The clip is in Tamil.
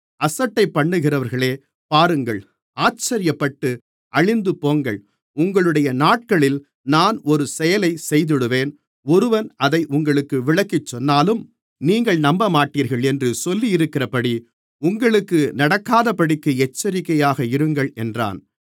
அசட்டைப்பண்ணுகிறவர்களே பாருங்கள் ஆச்சரியப்பட்டு அழிந்துபோங்கள் உங்களுடைய நாட்களில் நான் ஒரு செயலைச் செய்திடுவேன் ஒருவன் அதை உங்களுக்கு விளக்கிச் சொன்னாலும் நீங்கள் நம்பமாட்டீர்கள் என்று சொல்லியிருக்கிறபடி உங்களுக்கு நடக்காதபடிக்கு எச்சரிக்கையாக இருங்கள் என்றான்